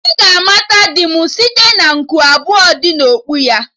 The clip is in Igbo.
Ị ga-amata di m site na nku abụọ dị na okpu ya